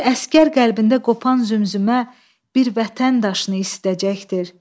Bir əsgər qəlbində qopan zümzümə, bir vətən daşını istəyəcəkdir.